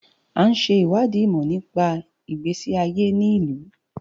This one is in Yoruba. À ń ṣe ìwádìí ìmọ̀ nípa ìgbésí ayé ní ìlú.